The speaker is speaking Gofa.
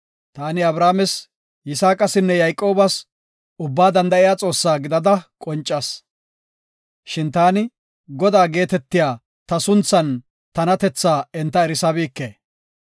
Taani Abrahaames, Yisaaqasinne Yayqoobas Ubbaa Danda7iya Xoossaa gidada qoncas. Shin taani, ‘Godaa’ geetetiya ta sunthan tanatethaa enta erisabike.